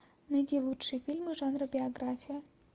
найди лучшие фильмы жанра биография